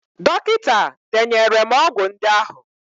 Dọkịta denyere m ọgwụ ndị ahụ.